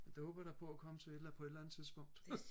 det håber jeg da at komme til på et eller andet tidspunkt